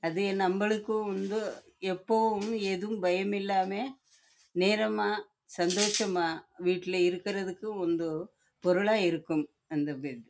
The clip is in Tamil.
அது நம்மளுக்கு வந்து எப்பொழுதும் பயம் இல்லாம நேரம் ஆஹ் ஆஹ் சந்தோசம் ஆஹ் வீட்ல